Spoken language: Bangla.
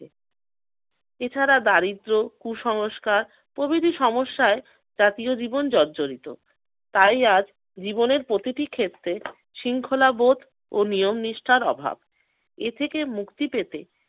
এছাড়া দারিদ্র কুসংস্কার প্রভৃতি সমস্যায় জাতীয় জীবন জর্জরিত। তাই আজ জীবনের প্রতিটি ক্ষেত্রে শৃঙ্খলাবোধ ও নিয়ম নিষ্ঠার অভাব। এ থেকে মুক্তি পেতে-